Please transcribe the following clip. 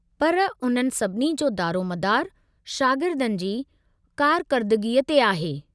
पर उन्हनि सभिनी जो दारोमदारु शागिर्दनि जी कारकरदगीअ ते आहे।